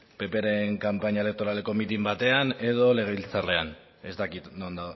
ppren kanpaina elektoraleko mitin batean edo legebiltzarrean ez dakit non